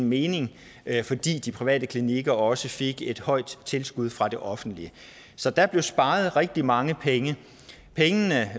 mening fordi de private klinikker også fik et højt tilskud fra det offentlige så der blev sparet rigtig mange penge pengene